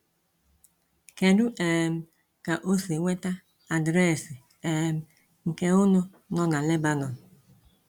Kedu um ka o si nweta adreesị um nke Ụnụ nọ na Lebanon?